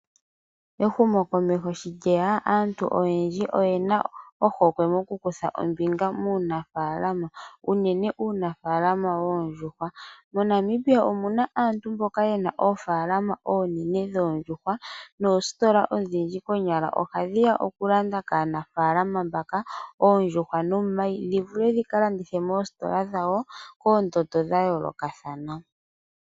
Ehumo komeho shi lyeya aantu oyendji oyena ohokwe moku kutha ombinga muunafaalama, unene uunafaalama woondjuhwa. MoNamibia omuna aantu mboka yena oofaalama oonene dhoondjuhwa, noositola odhindji konyala oha dhiya oku landa kaanafaalama mbaka oondjuhwa nomayi. Dhi vule dhika landithe moositola dhawo koondando dha yoolokathana.